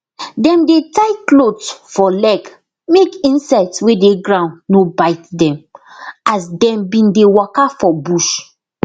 dem dey tie cloth for leg make insects wey dey ground no bite dem as dem bin dey waka for bush